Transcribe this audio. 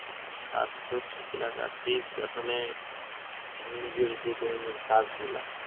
স্বাস্থ্য ঠিক রাখার tips আসলে নিজের যে দৈনন্দিন কাজগুলা